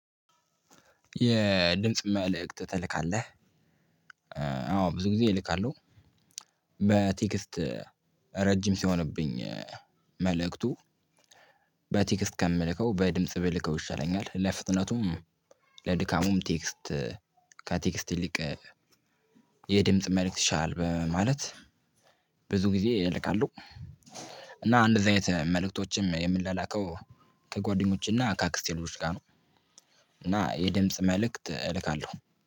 የድምጽ መልእክት ትልካለህ? አዎ ብዙ ጊዜ እልካለሁ። በቴክስት ረጅም ሲሆንብኝ መልእክቱ በቴክስት ከምልከው በድምጽ ብልከው ይሻለኛል። ለፍጥነቱም ለድካሙም ቴክስት ከቴክስት ይልቅ የድምጽ መልእክት ይሻላል። በማለት ብዙ ጊዜ እልካለሁ። እና እንደዚህ አይነት መልእክቶችም የምላላከው ከጓደኞች እና ከአክስቴ ልጆች ጋር ነው። እና የድምጽ መልእክት እልካለሁ